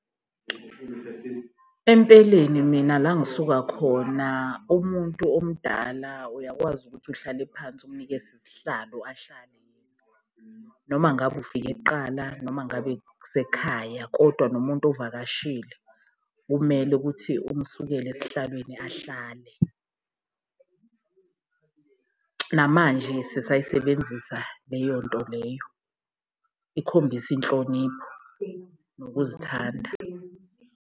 Empeleni mina la engisuka khona umuntu omdala uyakwazi ukuthi uhlale phansi umnikeze isihlalo ahlale, noma ngabe ufike kuqala noma ngabe kusekhaya kodwa nomuntu ovakashile kumele ukuthi umsukele esihlalweni ahlale. Namanje sisayisebenzisa leyonto leyo, ikhombisa inhlonipho nokuzithanda.